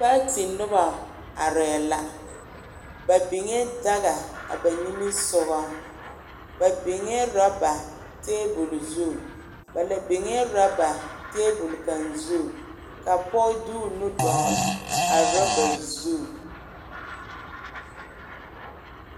Paati noba are la ba biŋ la daga a ba niŋe soba ba biŋee ɔreba tabol zu ba la biŋee orɔba tabol kaŋ zu ka poge de o nu dɔɔle a ɔreba zu.